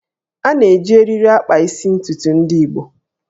A na-eji eriri akpa isi ntukwu ndị Igbo